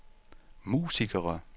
musikere